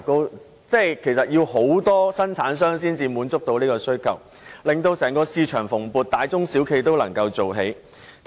換言之，其實需要大量生產商才能滿足這種需求，整個市場也會很蓬勃，大中小企均能立足。